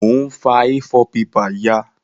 Mo n fa A4 paper ya